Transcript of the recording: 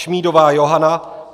Šmídová Johana